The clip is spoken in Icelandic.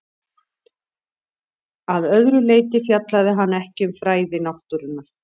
Að öðru leyti fjallaði hann ekki um fræði náttúrunnar.